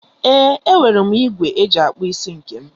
Ee, enwere m ìgwè eji akpụ isi nke m.